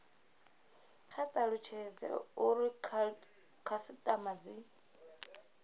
kwa talutshedza uri khasitama dzi